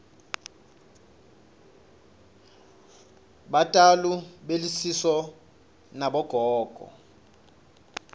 batali belusiso nabogogo